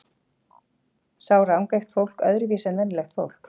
Sjá rangeygt fólk öðruvísi en venjulegt fólk?